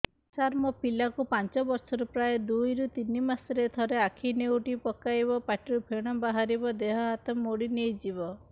ସାର ମୋ ପିଲା କୁ ପାଞ୍ଚ ବର୍ଷ ପ୍ରାୟ ଦୁଇରୁ ତିନି ମାସ ରେ ଥରେ ଆଖି ନେଉଟି ପକାଇବ ପାଟିରୁ ଫେଣ ବାହାରିବ ଦେହ ହାତ ମୋଡି ନେଇଯିବ